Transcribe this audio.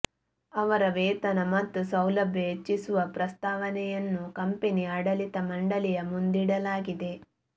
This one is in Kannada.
ಅವರ ವೇತನ ಮತ್ತು ಸೌಲಭ್ಯ ಹೆಚ್ಚಿಸುವ ಪ್ರಸ್ತಾವನೆಯನ್ನು ಕಂಪೆನಿ ಆಡಳಿತ ಮಂಡಳಿಯ ಮುಂದಿಡಲಾಗಿದೆ